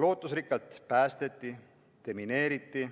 Lootusrikkalt päästeti, demineeriti,